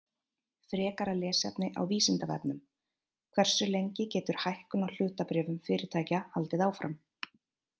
Frekara lesefni á Vísindavefnum: Hversu lengi getur hækkun á hlutabréfum fyrirtækja haldið áfram?